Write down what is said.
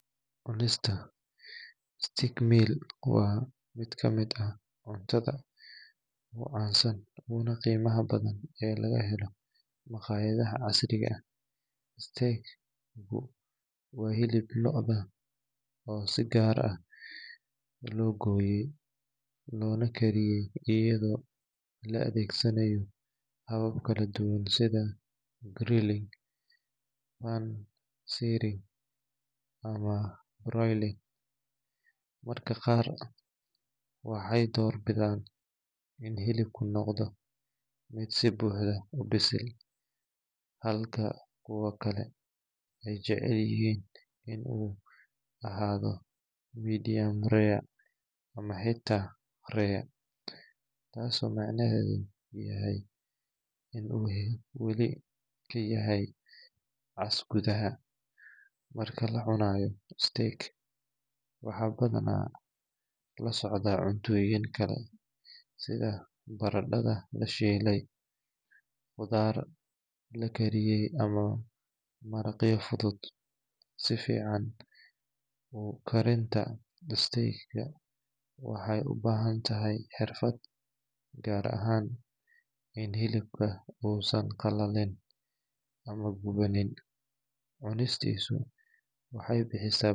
Cunista stage meel waa miid ka miid ah cuntaada u cansan una qima badan ee laga helo maqayaadaha casriga ah stage waa cuntaada lodha dar ahan si goni lo goye lona kariye iyadha oo la adhegsanaya habab kala duwan sitha rolling ama marka qaar waxee dor bidan in hilibku noqdo miid si buxda u bislaada, halka ee jecelyihin in u ahaado medium tas oo macmahedu u yahay wali ka yahay marka lacunayo stage waxaa ku dacaya waxaa lasocda cuntoyin kale sitha baradadha lashilay qidhaar lakariye ama maraqya la kariye sifican oo karinta istega waxee u bahantahay xirfaad gaar ahan in hilibka u san qalalin ama guwanin cunistisu waxee bixisa.